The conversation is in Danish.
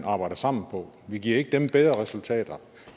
arbejder sammen på vi giver ikke dem bedre resultater